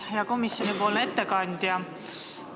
Hea komisjoni ettekandja!